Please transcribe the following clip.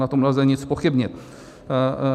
Na tom nelze nic zpochybnit.